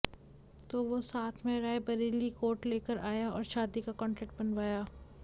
तो वो साथ में राय बरेली कोर्ट लेकर आया और शादी का कन्ट्रैक्ट बनवाया